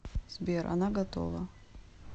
сбер она готова